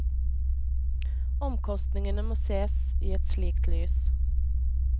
Omkostningene må sees i et slikt lys.